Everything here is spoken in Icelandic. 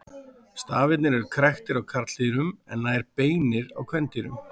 Stafirnir eru kræktir á karldýrum en nær beinir á kvendýrum.